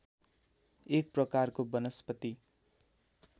एक प्रकारको वनस्पति